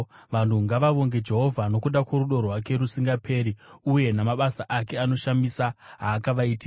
Vanhu ngavavonge Jehovha nokuda kworudo rwake rusingaperi, uye namabasa ake anoshamisa aakavaitira,